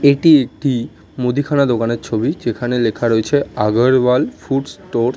এটি একটি মুদিখানা দোকানের ছবি। যেখানে লেখা রয়েছে আগারওয়াল ফুড স্টোর ।